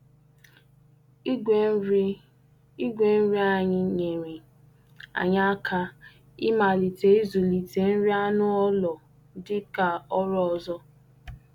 Igwe nri Igwe nri anyị nyere anyị aka ịmalite ịzụlite nri anụ ụlọ dị ka ọrụ ọzọ.